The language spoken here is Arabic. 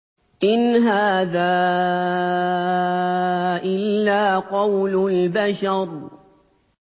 إِنْ هَٰذَا إِلَّا قَوْلُ الْبَشَرِ